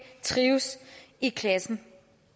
trives i klassen